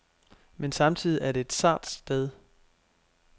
Men samtidig er det et sart sted.